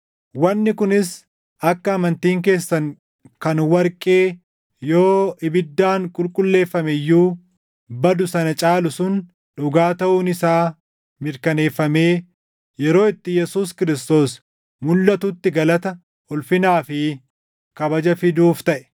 Wanni kunis akka amantiin keessan kan warqee yoo ibiddaan qulqulleeffame iyyuu badu sana caalu sun dhugaa taʼuun isaa mirkaneeffamee, yeroo itti Yesuus Kiristoos mulʼatutti galata, ulfinaa fi kabaja fiduuf taʼe.